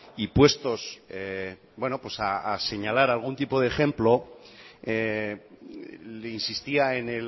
y puestos bueno pues a señalar algún tipo de ejemplo le insistía